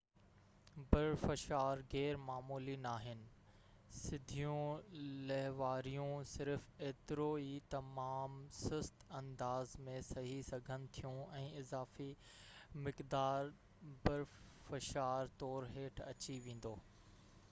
برفشار غير معمولي ناهن سڌيون لهواريون صرف ايترو ئي تمام سست انداز ۾ سهي سگهن ٿيون ۽ اضافي مقدار برفشار طور هيٺ اچي ويندو